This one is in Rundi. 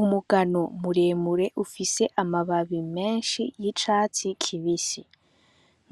Umugano muremure ufise amababi menshi y'icatsi kibisi